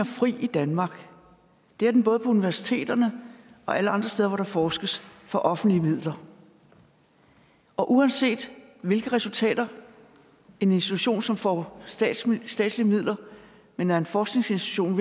fri i danmark det er den både på universiteterne og alle andre steder hvor der forskes for offentlige midler og uanset hvilke resultater en institution som får statslige statslige midler men er en forskningsinstitution